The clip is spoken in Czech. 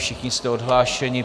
Všichni jste odhlášeni.